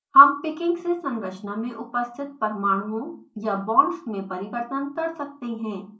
हम picking से संरचना में उपस्थित परमाणुओं या बॉन्ड्स में परिवर्तन कर सकते हैं